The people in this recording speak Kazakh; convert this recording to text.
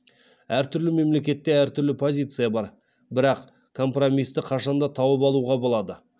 әртүрлі мемлекетте әртүрлі позиция бар бірақ компромисті қашан да тауып алуға болады